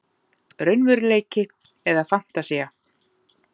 Raunveruleiki- eða fantasía?